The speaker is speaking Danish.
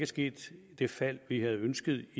sket det fald vi ønskede